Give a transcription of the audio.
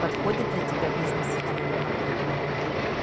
подходит для тебя бизнес сетевого маркетинга